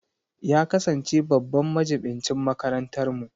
Ya kasance babban majibincin makarantarmu